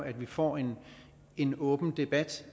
at vi får en en åben debat